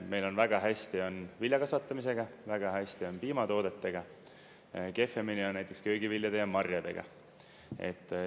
Meil on väga hästi, viljakasvatamisega, väga hästi on piimatoodetega, kehvemini on näiteks köögiviljade ja marjadega.